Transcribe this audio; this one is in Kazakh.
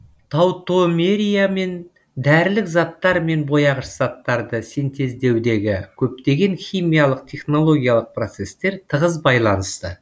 таутомериямен дәрілік заттар мен бояғыш заттарды синтездеудегі көптеген химиялық технологиялық процесстер тығыз байланысты